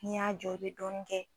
N'i y'a jɔ e be dɔɔnin kɛ